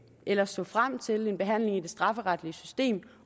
ellers så frem til en behandling i det strafferetlige system